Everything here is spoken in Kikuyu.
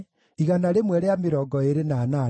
na andũ a Senaa maarĩ 3,630.